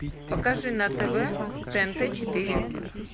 покажи на тв тнт четыре